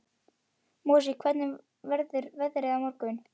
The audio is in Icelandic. Mosi, hvernig verður veðrið á morgun?